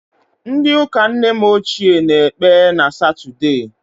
Ndị ụka nne m ochie na-ekpe na Satọdee